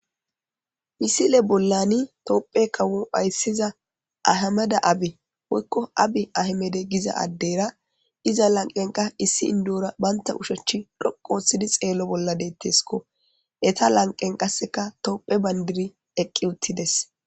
misile bollani toopphe kawo ayssiza ahamada abi woykko abi ahmede giza addeyra iza lanqenka issi indura baynta ushechchi doqooththidi xeello bolla deetteskko eta lanqen qasseka toophe bandiri eqqi uttides